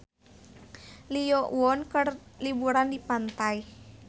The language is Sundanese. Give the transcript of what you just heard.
Lee Yo Won keur liburan di pantai